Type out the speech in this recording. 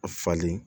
A falen